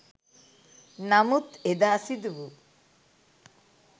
නමුත් එදා සිදුවු